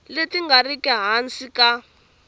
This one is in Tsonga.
leti nga riki hansi ka